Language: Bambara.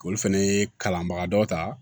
Olu fɛnɛ ye kalanbaga dɔ ta